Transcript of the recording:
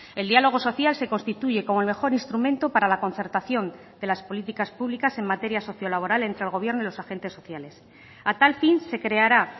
el diálogo social se constituye como el mejor instrumento para la concertación de las políticas públicas en materia socio laboral entre el gobierno y los agentes sociales a tal fin se creará